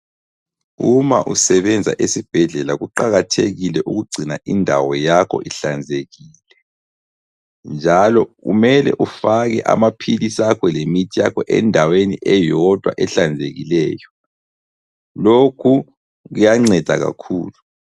Uma usebenza esibhedlela kuqakathekile ukugcina indawo yakho ihlanzekile, njalo kumele ufake amaphilisi akho lemithi yakho endaweni eyodwa ehlanzekileyo. Lokhu kuyanceda kakhulu.